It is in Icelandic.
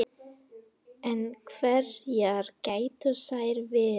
En hverjar gætu þær verið